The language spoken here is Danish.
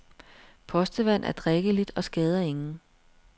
Postevand er drikkeligt og skader ingen.